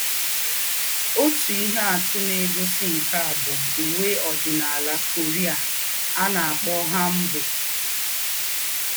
Òtú íhé àtù nà-ègósí nké à bú úwé òdìnálà Korea à nà-àkpọ́ hanbok